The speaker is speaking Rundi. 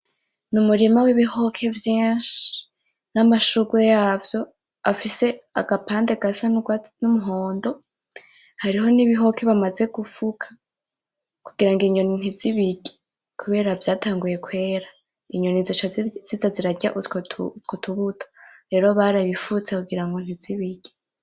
Ni umurima w'ibihoke vyinshi bifise n'amashurwe yavyo afise agapande gasa n'umuhondo, hariho n'ibihoke bamaze gufuka kugirango inyoni ntizibirye kubera vyatanguye kwera, inyoni zoca ziza zirarya utwo tubuto rero barabifutse kugirango ntizibirye.